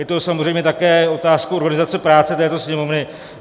Je to samozřejmě také otázkou organizace práce této Sněmovny.